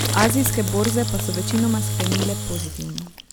Azijske borze pa so večinoma sklenile pozitivno.